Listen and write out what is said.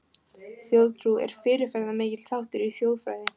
Þjóðtrú er fyrirferðamikill þáttur í þjóðfræði.